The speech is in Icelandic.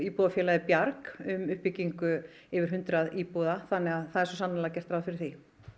íbúðafélagið Bjarg um byggingu yfir hundrað íbúða þannig að það er svo sannarlega gert ráð fyrir því